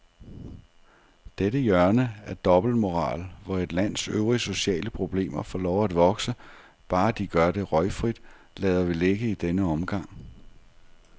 Dette hjørne af dobbeltmoral, hvor et lands øvrige sociale problemer får lov at vokse, bare de gør det røgfrit, lader vi ligge i denne omgang.